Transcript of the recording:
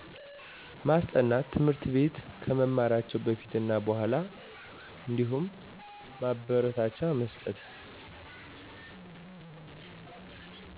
ማስጠናት ትምህርት ቤት ከመማራቸው በፊት እና በኋላ አንዲሁም ማበረታቻ መስጠት